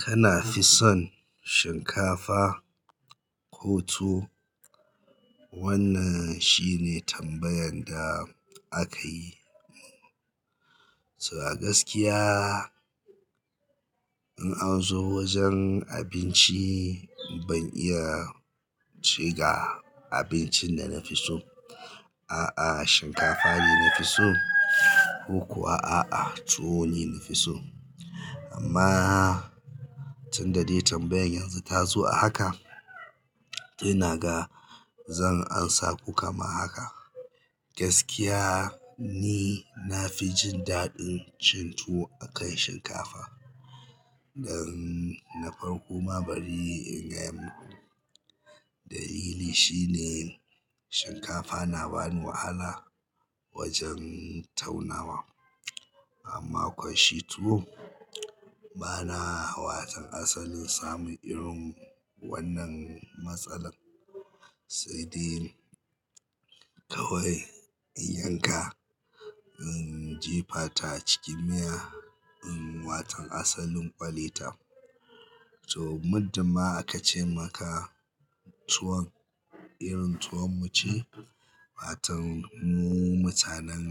Kana fi son shinkafa ko tuwo? Wannan shine tambayan da aka yi. To a gaskiya in an zo wajen abinci ban iya ce ga abincin da na fi so. A'a, shinkafa ne na fi so ko kuwa a'a tuwo ne na fi so. Amma tunda dai tambayan yanzu ta zo a haka, to ina ga zan amsa ku kama haka. Gaskiya ni na fi jin daɗin cin tuwo akan shinkafa dan na farko ma bari in gaya muku. Dalilin shine shinkafa na bani wahala wajen taunawa ammakwa shi tuwo bana wata kan asalin samun irin wannan matsalan. Sai dai kawai in yanka, in jefa ta cikin miya, in watan asalin ƙwale ta. To, muddin ma aka ce maka tuwon, irin tuwon mu ce, watan mu mutanen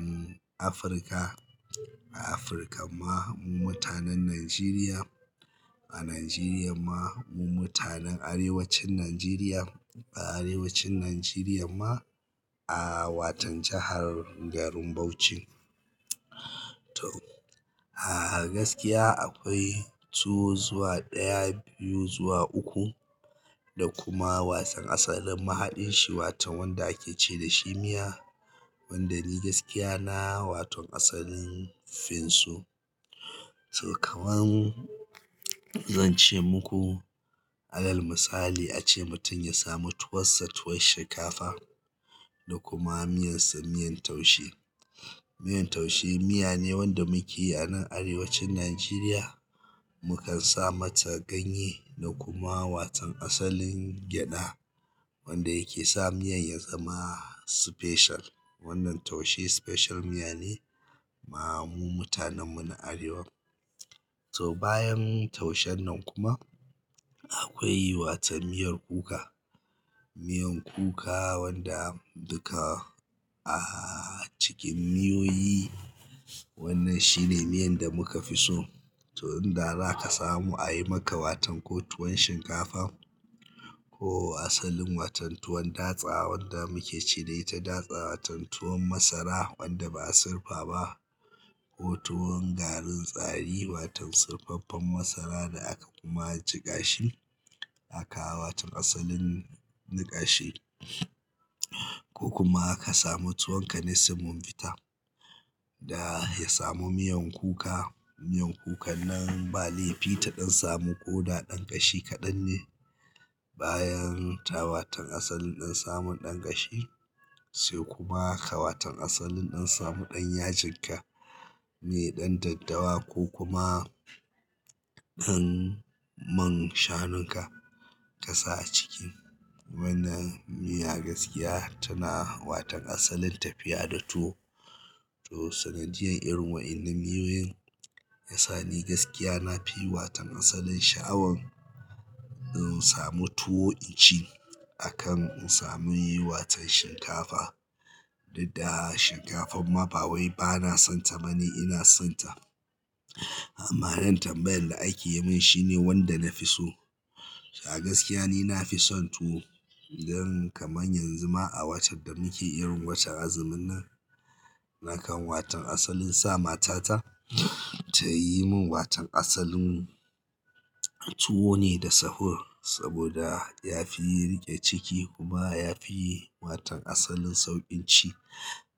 Afirka. A Afirka ma, mu mutanen Najeriya. A Najeriya ma, mu mutanen arewacin Najeriya. A arewacin Najeriya ma, a watan jahar garin Bauchi. To, a gaskiya akwai tuwo zuwa ɗaya, biyu zuwa uku. Da kuma wasan asalin mahaɗin shi watan wanda ake ce da "shi miya", wanda ni gaskiya na watan asalin fin su. To kaman zance muku, alal misali ace mutum ya samu tuwassa tuwon shinkafa. Da kuma miyan sa miyan taushe. Miyan taushe miya ne wanda muke anan arewacin Najeriya. Mukan sa mata ganye da kuma watan asalin gyaɗa. Wanda yake sa miyan ya zama special. Wannan taushe special miya ne ma mu mutanen mu na arewa. To, bayan taushen nan kuma akwai watan miyar kuka. Miyan kuka wanda duka a cikin miyoyi wannan shi ne miyan da muka fi so. To in da za ka samu a yi maka watan ko tuwon shinkafa ko asalin watan tuwon datsa wanda muke ce da ita datsa. Watan tuwon masara wanda ba'a sirfa ba. Ko tuwon garin tsari. Watan sirfaffen masara da aka kuma jiƙa shi. Aka ka watan asalin niƙashe ko kuma ka samu tuwon ka na simunbifa. Da ya samu miyan kuka. Miyan kukan nan ba laifi ta ɗan samu ko da ɗan ƙashi kaɗan ne. Bayan tawa watan asalin ɗan samun ɗan ƙashi. Sai kuma ka watan asalin ɗan samu ɗan yajin ka me ɗan daddawa ko kuma ɗan man shanun ka ka sa a ciki wannan miya. Gaskiya tana watan asalin tafiya da tuwo. To, sanadiyan irin wa'inan miyoyin ya sa ni gaskiya nafi watan asalin sha'awan in samu tuwo in ci akan in sami watan shinkafa. Didda shinkafan ma ba wai bana san ta bane ina san ta. Amma irin tambayan da ake yi mun shine wanda na fi so. A gaskiya ni nafi son tuwo. Don kaman yanzu ma a watan da muke irin watan azumin nan, nakan watan asalin sa matata. Ta yi mun watan asalin. Tuwo ne da sahur saboda ya fi riƙe ciki kuma ya fi yi watan asalin sauƙin ci.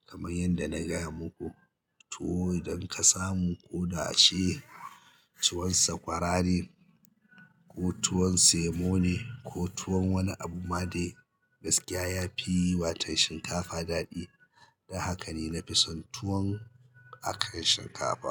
Kaman yanda na gaya muku. Tuwo idan ka samu ko da ace tuwon sakwara ne ko tuwon semo ne ko tuwon wani abu ma dai, gaskiya ya fi yi watan shinkafa daɗi. Dan haka ni nafi san tuwon akan shinkafa.